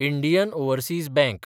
Indian Overseas bank